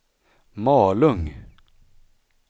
Malung